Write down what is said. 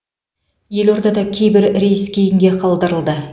елордада кейбер рейс келн кейінге қалдырылды